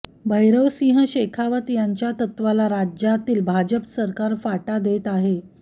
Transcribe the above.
भैरवसिंह शेखावत यांच्या तत्त्वाला राज्यातील भाजप सरकार फाटा देत आहे